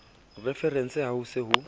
referense ha ho se ho